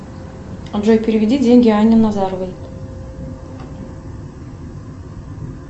джой переведи деньги анне назаровой